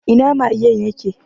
Ina magen ya ke?